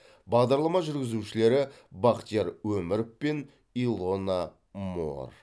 бағдарлама жүргізушілері бахтияр өміров пен илона моор